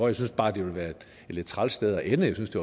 jeg synes bare det ville være et lidt træls sted at ende jeg synes det